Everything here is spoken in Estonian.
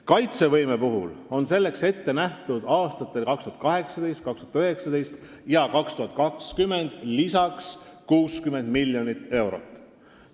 Kaitsevõimeks on aastatel 2018, 2019 ja 2020 lisaks ette nähtud 60 miljonit eurot.